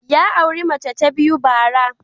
Ya auri mace ta biyu bara.